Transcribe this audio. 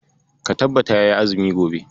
Ka tabbata kayi azumi gobe.